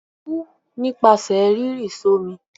Kú nípasẹ̀ rírì s'ọ́mi!